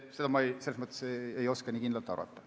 Selles mõttes ei oska ma nii kindlalt arvata.